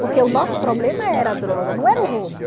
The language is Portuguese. Porque o nosso problema era a droga, não era o roubo.